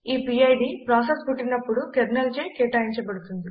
ఈ PID process పుట్టినపుడు కెర్నెల్చే కేటాయించబడుతుంది